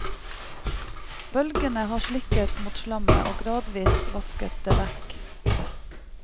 Bølgene har slikket mot slammet og gradvis vasket det vekk.